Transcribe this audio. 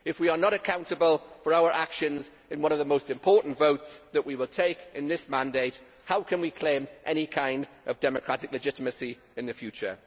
If we are not accountable for our actions in one of the most important votes that we will take in this mandate, how can we claim any kind of democratic legitimacy in the future?